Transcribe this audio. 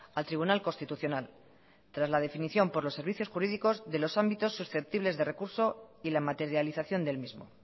al tribunal constitucional tras la definición por los servicios jurídicos de los ámbitos susceptibles de recurso y la materialización del mismo